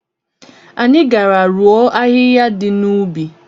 Anyị gara rụọ ahịhịa dị n'ubi.